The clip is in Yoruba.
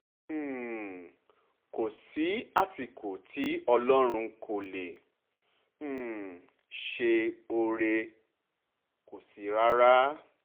um kò sí àsìkò tí ọlọ́run kò lè um ṣe oore rẹ̀ kò sí rárá